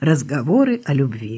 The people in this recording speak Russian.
разговоры о любви